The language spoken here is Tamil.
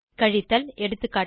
கழித்தல் எகா